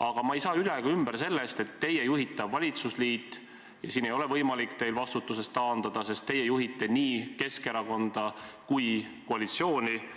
Aga ma ei saa üle ega ümber sellest, et teie juhitav valitsusliit – ja siin ei ole teil võimalik vastutusest taanduda, sest teie juhtite nii Keskerakonda kui koalitsiooni –